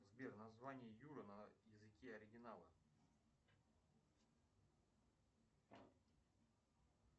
сбер название юра на языке оригинала